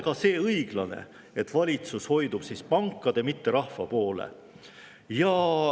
Ka see pole õiglane, et valitsus hoiab pankade, mitte rahva poole.